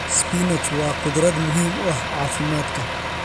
Spinach waa khudrad muhiim u ah caafimaadka.